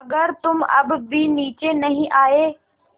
अगर तुम अब भी नीचे नहीं आये